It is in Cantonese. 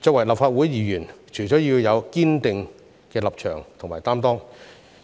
作為立法會議員，除了要有堅定的立場和擔當，